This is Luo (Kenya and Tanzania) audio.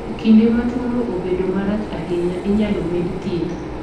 E kinde ma tuono obedo marach ahinya, inyalo med thieth.